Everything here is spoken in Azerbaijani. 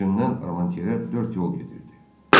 Bütünnən Armantyera dörd yol gedirdi.